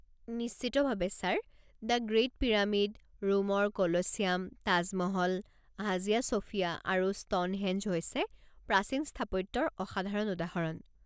নিশ্চিতভাৱে, sir! The great pyramid, ৰোমৰ Colosseum, Taj Mahal, Hagia Sophia আৰু ষ্ট'নহেঞ্জ হৈছে প্ৰাচীন স্থাপত্যৰ অসাধাৰণ উদাহৰণ।